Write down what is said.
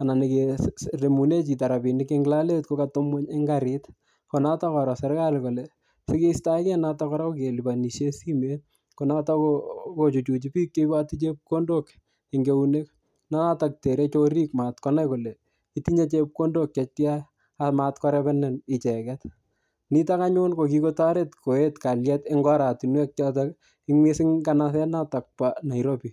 anan nekemune chito rabinik ing lolet kokatebi ng'uny in karit. Ko notok koro serikali kole sikeistoege notok kora ko kelipanishe simet. Ko notok ko-kochuchuchi biik che iboti chepkondok ing enuek. Notok tere chorik matkonai kole itinye chepkondok chetya amatkorebenin icheket. Nitok anyun ko kikotoret koet kalyet eng oratunwek chotok, ing missing nganaset notok po Nairobi.